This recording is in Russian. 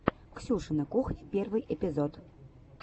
ксюшина кухня первый эпизод